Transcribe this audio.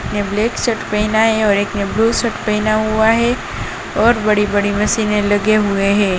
एक ने black shirt पहना है और एक ने ब्लू शर्ट पहना हुआ है और बड़ी-बड़ी मशीनें लगे हुए है।